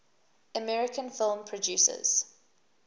american film producers